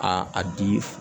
A a di